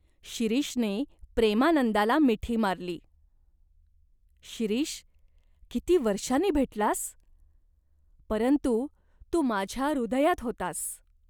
शिरीषने प्रेमानंदाला मिठी मारली. "शिरीष, किती वर्षानी भेटलास !" "परंतु तू माझ्या हृदयात होतास.